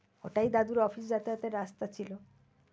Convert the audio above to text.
ওটাই দাদুর office যাতায়াতের রাস্তা ছিল।